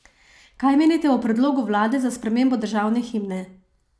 Kaj menite o predlogu vlade za spremembo državne himne?